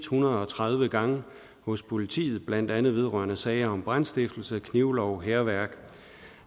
hundrede og tredive gange hos politiet blandt andet vedrørende sager om brandstiftelse overtrædelse af knivloven hærværk